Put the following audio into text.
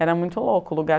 Era muito louco o lugar.